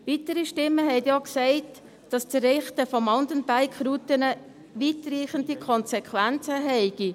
Weitere Stimmen sagten auch, dass das Errichten von Mountainbike-Routen weitreichende Konsequenzen habe.